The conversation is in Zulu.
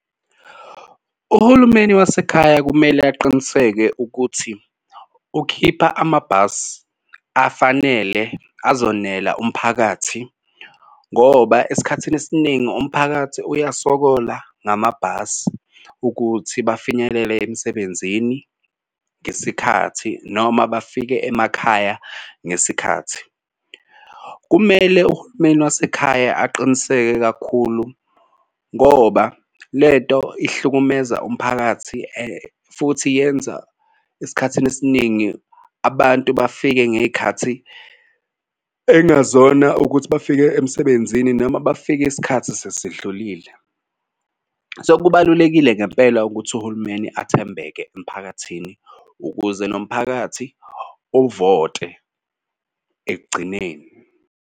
Uhulumeni wasekhaya kumele aqiniseke ukuthi ukhipha amabhasi afanele ezonela umphakathi ngoba esikhathini esiningi umphakathi uyasokola ngamabhasi ukuthi bafinyelele emsebenzini ngesikhathi noma bafike emakhaya ngesikhathi. Kumele uhulumeni wasekhaya aqiniseke kakhulu ngoba le nto ihlukumeza umphakathi futhi yenza esikhathini esiningi abantu bafike ngey'khathi ekungazona ukuthi bafike emsebenzini noma bafike isikhathi sesidlulile. So kubalulekile ngempela ukuthi uhulumeni athembeke emphakathini ukuze nomphakathi uvote ekugcineni.